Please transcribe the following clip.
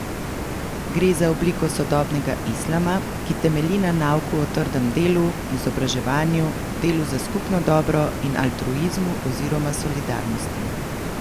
Gre za obliko sodobnega islama, ki temelji na nauku o trdem delu, izobraževanju, delu za skupno dobro in altruizmu oziroma solidarnosti.